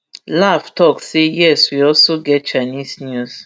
laugh tok say yes we also get chinese news